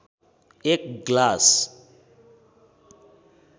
एक ग्लास